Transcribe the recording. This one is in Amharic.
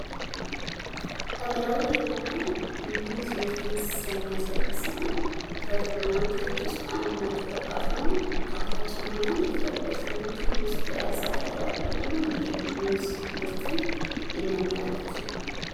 ሀገራዊ የሆነ የሙዝ ምርትን የሚያሳይ ሲሆን ከግብርና ምርቶች ውስጥ አንዱና ተጠቃሹ ነው። ጣፋጭ የሆነ እና የተለያዩ ቫይታሚኖች በውስጡ የያዘ ሀገራዊ የሆነን የሙዝ ምርትን የሚያመላክት ነው።